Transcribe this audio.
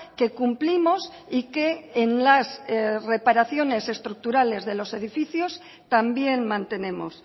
que cumplimos y que en las reparaciones estructurales de los edificios también mantenemos